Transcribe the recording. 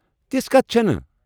تژھ کتھ چھنہٕ ۔